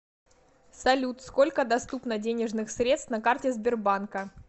салют сколько доступно денежных средств на карте сбербанка